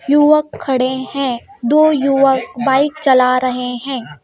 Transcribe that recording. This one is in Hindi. युवक खड़े हैं दो युवक बाइक चला रहे हैं.